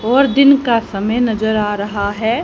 और दिन का समय नजर आ रहा है।